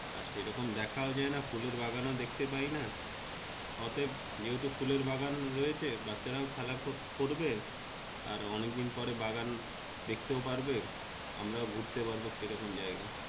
আর সেরকম দেখা যায়না ফুলের বাগান ও ডাকতে পাইনা অতএব যেহেতু ফুলের বাগান রয়েছে বাচ্চা খেলা করতে করবে আর অনেক দিন পরে বাগান দেখতে পারবে আমরা ঘুরতে পারবো সেই রকম জায়গা।